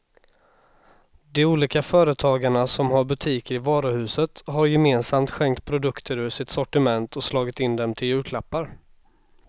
De olika företagarna som har butiker i varuhuset har gemensamt skänkt produkter ur sitt sortiment och slagit in dem till julklappar.